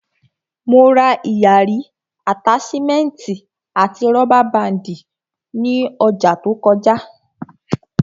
Mo ra ìyarí, àtáṣímẹ́ẹ̀tì àti rọ́bà báàndì ní ọjà to kọjá